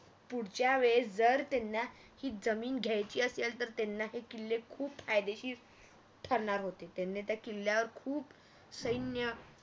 पुढच्या वेळेस जर त्यांना ही जमीन घ्यायची असेल तर त्यांना ते किल्ले खूप फायदेशीर हम्म ठरणार होते त्यांनी त्या किल्ल्यावर खूप सैन्य